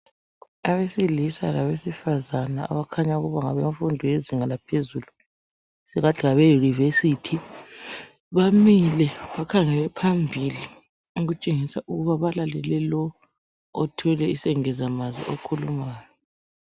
Abesilisa labesifazane okukhanya okuba ngabemfundo yezinga laphezulu esingathi ngabe yunivesithi bamile bakhangele phambili okutshengisa ukuba balalele lo othwele isengeza mazwi okhulumayo.